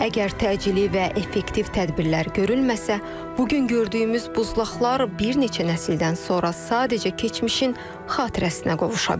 Əgər təcili və effektiv tədbirlər görülməsə, bu gün gördüyümüz buzlaqlar bir neçə nəsildən sonra sadəcə keçmişin xatirəsinə qovuşa bilər.